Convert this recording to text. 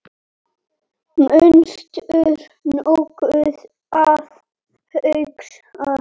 manstu nokkuð að hugsa